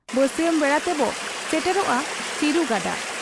ᱵᱟᱹᱥᱤᱭᱟᱹᱢ ᱵᱮᱲᱟ ᱛᱮᱵᱚ ᱥᱮᱴᱮᱨᱚᱜ ᱟ ᱪᱤᱨᱩ ᱜᱟᱰᱟ ᱾